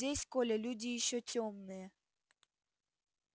здесь коля люди ещё тёмные